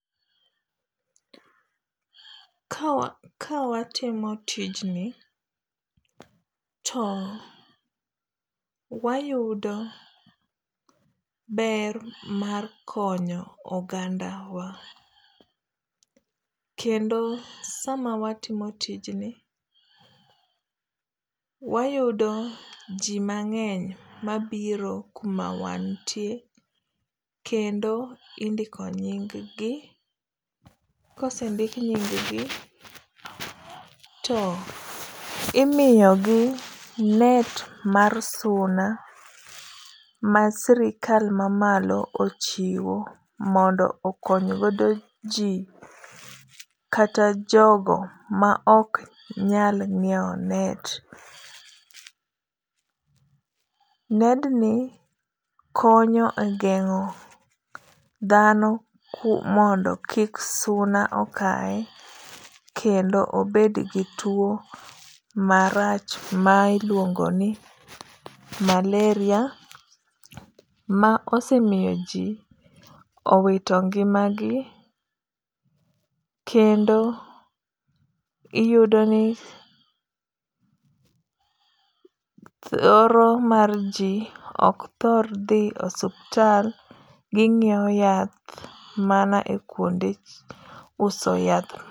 Kawa kawatimo tijni, to wayudo ber mar konyo ogandawa kendo sama watimo tijni wayudo ji mang'eny mabiro kuma wantie, kendo indiko nying gi. Ka osendik nying gi to imiyogi net mar suna masirikal mamalo ochiwo mondo okony godo ji kata jogo ma ok nyal nyiewo net. Nedni konyo e geng'o dhano mondo kik suna okaye kendo obed gi tuo marach ma iluongo ni malaria ma osemiyoji owito ngimagi kendo iyudoni thoro mar ji ok thor dhi osiptal, ginyiewo yath mana ekuonde uso yath.